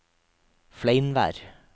Fleinvær